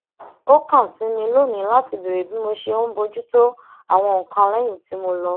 ó kàn sí mi lónìí láti béèrè bí mo ṣe ń bójú tó àwọn nǹkan léyìn tí mo lọ